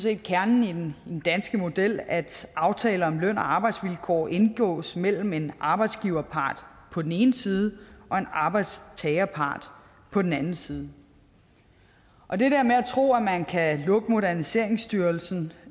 er kernen i den danske model at aftaler om løn og arbejdsvilkår indgås mellem en arbejdsgiverpart på den ene side og en arbejdstagerpart på den anden side og det der med at tro at man kan lukke moderniseringsstyrelsen